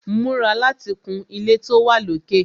Múra láti kun ilé tó wà lókè!